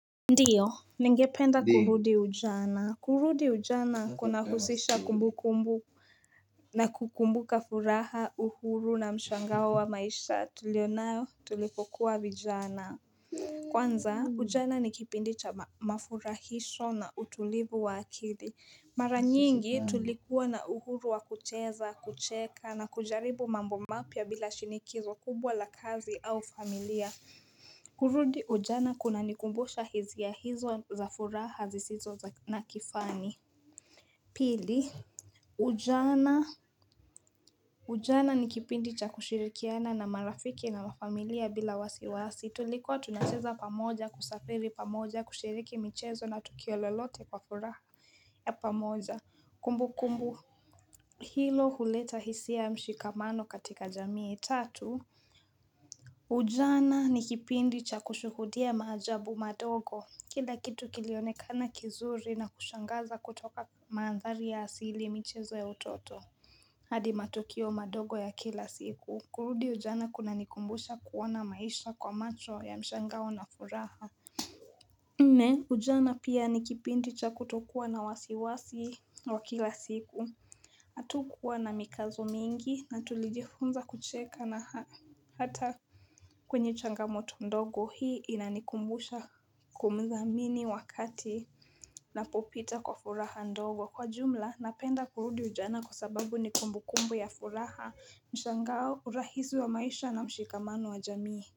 Ndio, ningependa kurudi ujana. Kurudi ujana kuna husisha kumbu kumbu na kukumbuka furaha, uhuru na mshangao wa maisha tulionayo tulipokuwa vijana. Kwanza, ujana ni kipindi cha mafurahisho na utulivu wa akili. Mara nyingi tulikuwa na uhuru wa kucheza, kucheka na kujaribu mambo mapya bila shinikizo kubwa la kazi au familia. Kurudi ujana kuna nikumbusha hisia hizo za furaha zisizo na kifani Pili Ujana Ujana nikipindi cha kushirikiana na marafiki na wafamilia bila wasiwasi Tulikuwa tunacheza pamoja kusafiri pamoja kushiriki michezo na tukio lolote kwa furaha ya pamoja Kumbu kumbu Hilo huleta hisia mshikamano katika jamii tatu Ujana nikipindi cha kushuhudia maajabu madogo Kila kitu kilionekana kizuri na kushangaza kutoka mandhari ya asili michezo ya utoto hadi matokeo madogo ya kila siku kurudi ujana kuna nikumbusha kuona maisha kwa macho ya mshangao na furaha Nne Ujana pia ni kipindi cha kutokuwa na wasiwasi wa kila siku hatukuwa na mikazo mingi na tulijifunza kucheka na hata kwenye changamoto ndogo hii inanikumbusha kumthamini wakati napopita kwa furaha ndogo kwa jumla napenda kurudi ujana kwa sababu ni kumbu kumbu ya furaha mshangao urahisi wa maisha na mshikamano wa jamii.